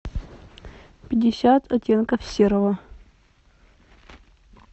пятьдесят оттенков серого